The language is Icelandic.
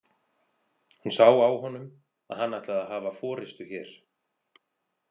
Hún sá á honum að hann ætlaði að hafa forystu hér.